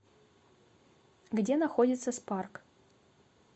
где находится спарк